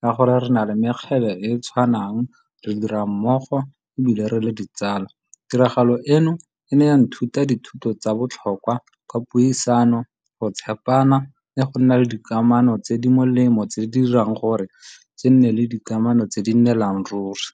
ka gore re na le mekgele e e tshwanang, re dira mmogo, ebile, re le ditsala. Tiragalo eno, e ne ya nthuta dithuto tsa botlhokwa ka puisano, go tshepana le go nna le dikamano tse di molemo tse di dirang gore ke nne le dikamano tse di nnelang ruri.